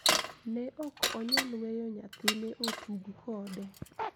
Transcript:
Ne ok onyal weyo nyathine otug kode